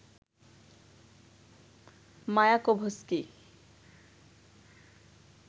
Mayakovsky